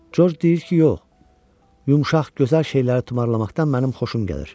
Corc deyir ki, yox, yumşaq, gözəl şeyləri tumarlamaqdan mənim xoşum gəlir.